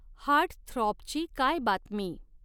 Heartthrob ची काय बातमी ?